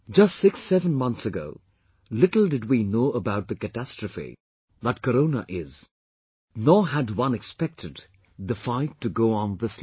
Just 67 months ago, little did we know about the catastrophe that Corona is, nor had one expected the fight to go on this long